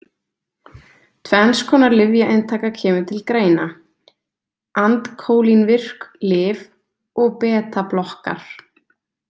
Tvenns konar lyfjainntaka kemur til greina, andkólínvirk lyf og betablokkar.